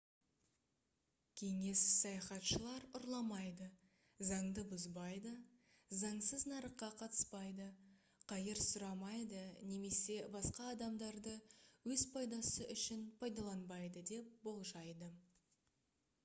кеңес саяхатшылар ұрламайды заңды бұзбайды заңсыз нарыққа қатыспайды қайыр сұрамайды немесе басқа адамдарды өз пайдасы үшін пайдаланбайды деп болжайды